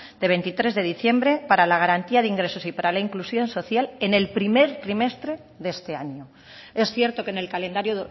de veintitrés de diciembre para la garantía de ingresos y para la inclusión social en el primer trimestre de este año es cierto que en el calendario